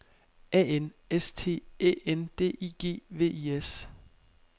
A N S T Æ N D I G V I S